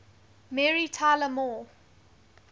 mary tyler moore